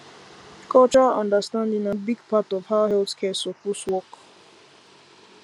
cultural understanding na big part of how health care suppose work